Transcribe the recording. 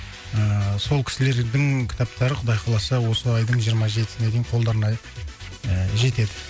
ыыы сол кісілердің кітаптары құдай қаласа осы айдың жиырма жетісіне дейін қолдарына ыыы жетеді